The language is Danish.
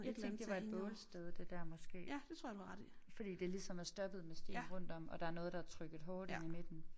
Jeg tænkte det var et bålsted det der måske fordi det ligesom er stoppet med sten rundt om og der noget der er trykket hårdt inde i midten